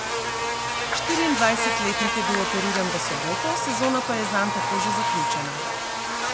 Štiriindvajsetletnik je bil operiran v soboto, sezona pa je zanj tako že zaključena.